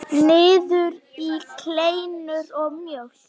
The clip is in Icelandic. Niður í kleinur og mjólk.